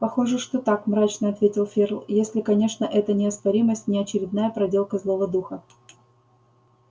похоже что так мрачно ответил ферл если конечно эта неоспоримость не очередная проделка злого духа